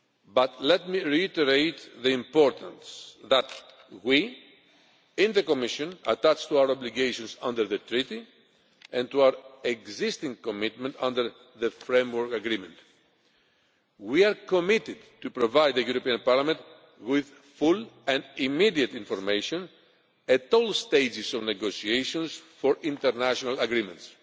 But let me reiterate the importance that we, in the Commission, attach to our obligations under the Treaty and to our existing commitment under the framework agreement we are committed to providing Parliament with full and immediate information at all stages of negotiations for international agreements.